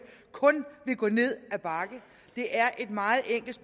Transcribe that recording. kun vil gå ned ad bakke det er et meget enkelt